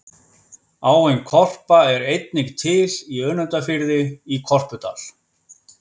Áin Korpa er einnig til í Önundarfirði, í Korpudal.